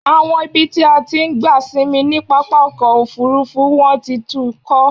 Àwọn ibi tí a ti ń gba sinmi ni pápákọ̀ òfúrúfú wọ́n ti tún kọ́.